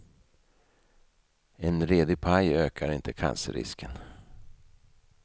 En redig paj ökar inte cancerrisken.